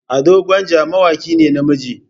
Ado gwanja mawaki ne na namiji.